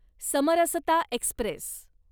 Samarsata Express